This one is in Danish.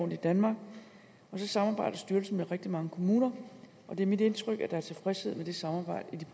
i danmark og så samarbejder styrelsen med rigtig mange kommuner og det er mit indtryk at der er tilfredshed med det samarbejde